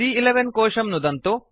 सी॰॰11 कोशं नुदन्तु